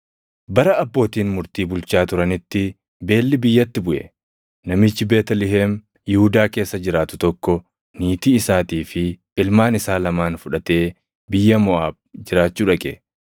Bara abbootiin murtii bulchaa turanitti beelli biyyatti buʼe; namichi Beetlihem Yihuudaa keessa jiraatu tokko niitii isaatii fi ilmaan isaa lamaan fudhatee biyya Moʼaab jiraachuu dhaqe.